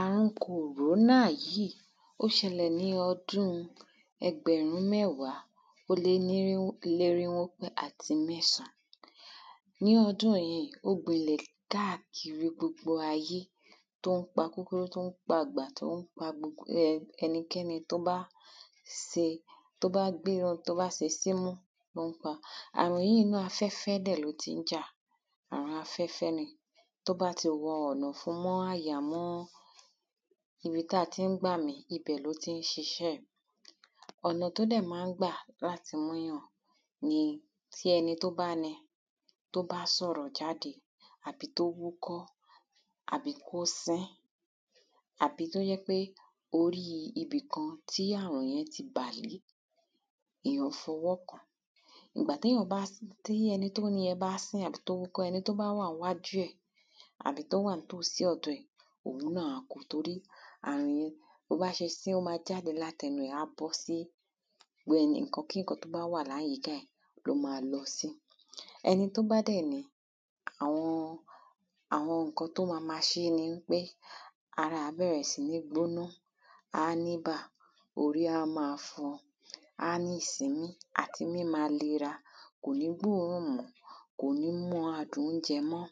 Àrùn kòrónà yìí ó ṣẹlẹ̀ ní ọdún ẹgbẹ̀rún mẹ́wàá ó lénírínwó àti mẹ́sàn ní ọdún yìí ó gbilẹ̀ káàkiri gbogbo ayé tó ń pa kúkúrú tó ń pa gbà tó ń pa gbogbo ẹnikẹ́ni tó bá se tó bá gbéra tó bá se símú àrùn yìí náà inú afẹ́fẹ́ dẹ̀ ló tí ń jà àrùn afẹ́fẹ́ ni tó bá ti wọ ọ̀nà ọ̀fun mọ́ àyà mọ́ ibi tá ti ń gbàmì ibẹ̀ ló tí ń ṣiṣẹ́ ẹ̀ ọ̀nà tó dẹ̀ má ń gbà láti mú yàn ni tí ẹni tó bá ní tó bá sọ̀rọ̀ jáde àbí kó wúkọ́ àbí kó sín àbí tó jẹ́ pé orí ibìkan tí àrùn yẹn ti bàlé èyàn fọwọ́ kàn ìgbà téyàn bá dẹ̀ sì tí ẹni tómú yẹ́n bá sín àbí tó wà ńwájú ẹ̀ àbí tó wà ńtòsí ọ̀dọ̀ ẹ̀ torí àrùn yẹn tó bá ṣe sí á bóta látẹnu ẹ̀ á ṣe sí ẹnu nǹkan kí nǹkan tó bá wà láyìká ẹ̀ ló má lọ sí ẹni tó bá dẹ̀ ní àwọn àwọn nǹkan tó má má ṣé ni wípé ara ẹ̀ á bẹ̀rẹ̀ sí ní gbóná á níbà orí á má fọ́ á ní ìsínmí àti mí á má nira kò ní gbórùn mọ́ kò ní mọ adùn óúnjẹ mọ́.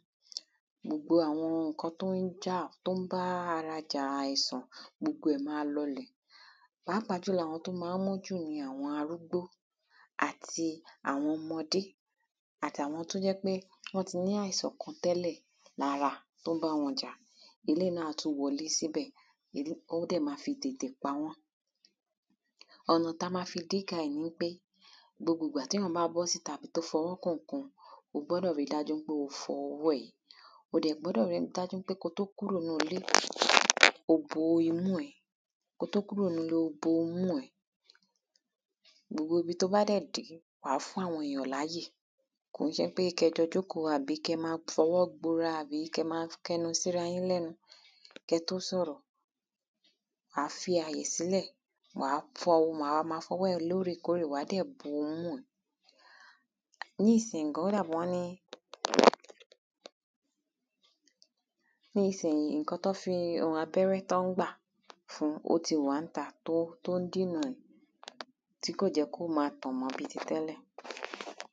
gbogbo àwọn nǹkan tó ń jà tó ń bá ara ja àìsàn gbogbo ẹ̀ má lọlẹ̀ pàápàá jùlọ àwọn tó má ń mú jù ni àwọn arúgbó àti àwọn ọmọdé àtawọn tó jẹ́ pé wọ́n ti ní àìsàn kan tẹ́lẹ̀ tó ń bá wọn jà eléèyí náà á tún wọlé síbẹ̀ á dẹ̀ má fi tètè pa wọ́n. Ọ̀nà tá má fi díka ẹ̀ nipé gbogbo ìgbà téyàn bá bọ́síta àbí ó fọwọ́ kan nǹkan o gbọ́dọ̀ rí dájú pé o fọ ọwọ́ ẹ o dẹ̀ gbọ́dọ̀ rí dájú pé kó tó kúrò ńlé o bo imú ẹ kó tó kúrò ńlé o bo imú ẹ. gbogbo ibi tó bá dẹ̀ wàá fún àwọn èyàn láyè kò í ṣe pé kẹ́ jọ jókòó àbí kẹ́ má fọwọ́ gbora tàbí kẹ́ má kẹnu síra yín lẹ́nu kẹ́ tó sọ̀rọ̀. wàá fi àyè sílẹ̀ wàá má fọwọ́ rẹ lórèkórè wàá dẹ̀ má fọwọ́ bo imú ẹ nísìyí gan ó dàbí wọn ní nísìyí nǹkan tán fi abẹ́rẹ́ tán ń gbà fún ó ti wà ńta tó ń dènà ẹ̀ tí kò jẹ́ kó má tàn mọ́ bí ti tẹ́lẹ̀.